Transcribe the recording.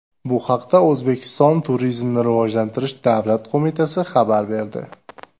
Bu haqda O‘zbekiston Turizmni rivojlantirish davlat qo‘mitasi xabar berdi .